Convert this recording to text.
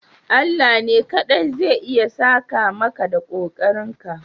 Allah ne kaɗai zai iya saka maka da kokarinka.